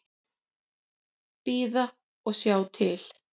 Bíða og sjá til.